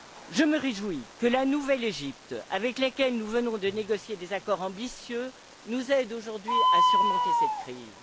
Je me réjouis que la nouvelle Égypte, avec laquelle nous venons de négocier des accords ambitieux, nous aide aujourd'hui à surmonter cette crise.